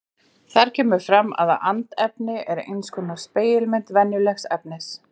Þar kemur fram að andefni er eins konar spegilmynd venjulegs efnis.